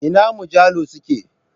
Ina mujallu su ke?